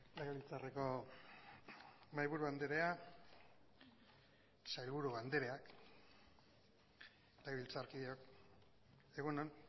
legebiltzarreko mahaiburua anderea sailburu andereak legebiltzarkideok egun on